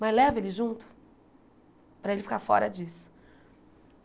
Mas leva ele junto para ele ficar fora disso.